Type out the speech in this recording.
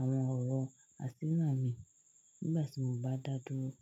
àwọn ọ̀rọ̀ àsínà mii nígbà tí mo bá dá dúró.